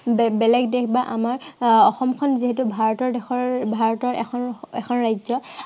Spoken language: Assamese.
বেলেগ বেলেগ দেশ বা আমাৰ আহ অসমখন যিহেতু ভাৰতৰ দেশৰ বা ভাৰতৰ এখন এখন ৰাজ্য়।